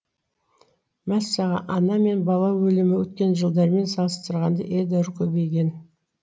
мәссаған ана мен бала өлімі өткен жылдармен салыстырғанда едәуір көбейген